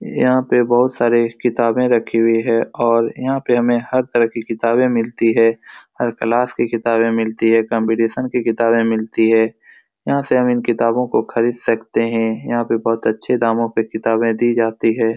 यहाँ पे बहुत सारे किताबे रखी हुई है और यहाँ पे हमे हर तरह की किताबे मिलती है । हर क्लास की किताबे मिलती है । कंपटीशन की किताबे मिलती है । यहाँ से हम इन किताबो को खरीद सकते हैं | यहाँ पे बहुत अच्छे दामो पे किताबे दी जाती है ।